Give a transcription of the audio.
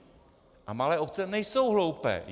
A malé obce nejsou hloupé.